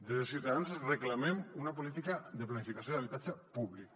des de ciutadans reclamem una política de planificació d’habitatge públic